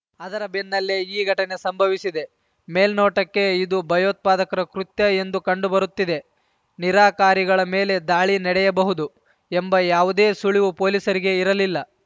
ಅದರ ಬೆನ್ನಲ್ಲೇ ಈ ಘಟನೆ ಸಂಭವಿಸಿದೆ ಮೇಲ್ನೋಟಕ್ಕೆ ಇದು ಭಯೋತ್ಪಾದಕರ ಕೃತ್ಯ ಎಂದು ಕಂಡುಬರುತ್ತಿದೆ ನಿರಾಕಾರಿಗಳ ಮೇಲೆ ದಾಳಿ ನಡೆಯಬಹುದು ಎಂಬ ಯಾವುದೇ ಸುಳಿವು ಪೊಲೀಸರಿಗೆ ಇರಲಿಲ್ಲ